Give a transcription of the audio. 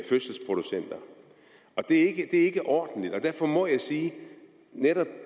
fødselsproducenter det er ikke ordentligt derfor må jeg sige at netop